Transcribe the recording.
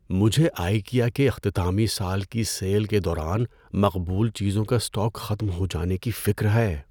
مجھے آئیکیا کے اختتامی سال کی سیل کے دوران مقبول چیزوں کا اسٹاک ختم ہو جانے کی فکر ہے۔